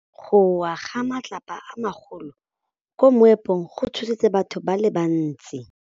Go wa ga matlapa a magolo ko moepong go tshositse batho ba le bantsi.